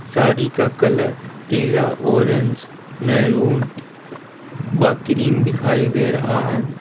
साड़ी का कलर पीला orange maroon व ग्रीन दिखाई दे रहा है।